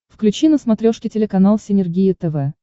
включи на смотрешке телеканал синергия тв